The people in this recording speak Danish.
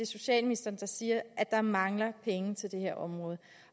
socialministeren der siger at der mangler penge til det her område